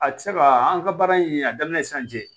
A tɛ se ka an ka baara in a daminɛ sisan cɛ